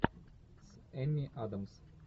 с эми адамс